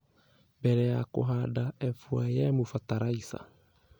Mbere ya kũhanda F.Y.M fatalaiza